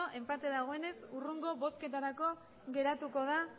enpate dagoenez hurrengo bozketarako geratuko da